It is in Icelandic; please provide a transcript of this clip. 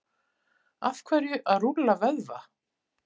af hverju að rúlla vöðva